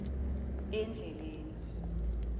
endleleni